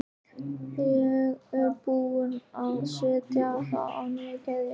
Ég er búin að setja á það nýja keðju